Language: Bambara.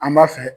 An b'a fɛ